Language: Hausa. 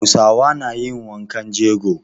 Hausawa na yin wankan jego.